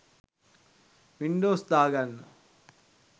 Windows දාගන්න